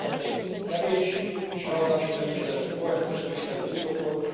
Ahhoz ez a pénz kevés, és ráadásul nem is lenne korrekt, és nem is lenne indokolt.